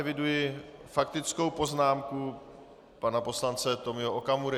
Eviduji faktickou poznámku pana poslance Tomia Okamury.